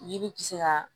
Yiri tɛ se ka